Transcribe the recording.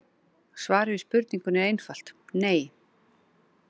Svarið við spurningunni er einfalt: nei.